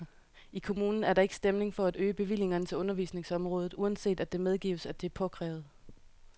I kommunen er der ikke stemning for at øge bevillingerne til undervisningsområdet, uanset at det medgives, at det er påkrævet.